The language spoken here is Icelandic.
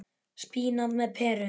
Spínat með perum